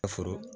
Ka foro